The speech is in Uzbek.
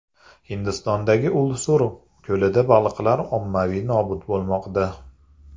Hindistondagi Ulsur ko‘lida baliqlar ommaviy nobud bo‘lmoqda .